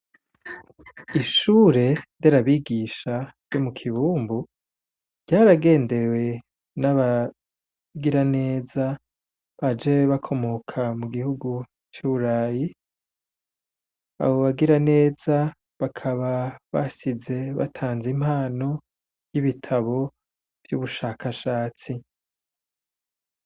ishure nderabigisha ryo mu kibumbu ryaragendewe n'abagiraneza baje bakomoka mu gihugu c'iburayi, abo bagiraneza bakaba basize batanze impano y'ibitabo vyubushakashatsi.